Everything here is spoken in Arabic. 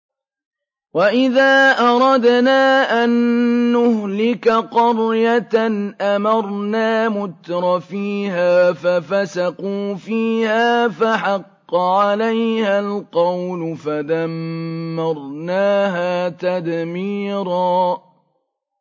وَإِذَا أَرَدْنَا أَن نُّهْلِكَ قَرْيَةً أَمَرْنَا مُتْرَفِيهَا فَفَسَقُوا فِيهَا فَحَقَّ عَلَيْهَا الْقَوْلُ فَدَمَّرْنَاهَا تَدْمِيرًا